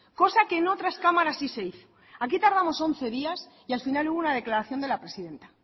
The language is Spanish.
cosa que en otras cámara si se hizo aquí tardamos once días y al final hubo una declaración de la presidenta